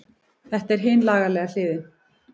Þetta er hin lagalega hlið.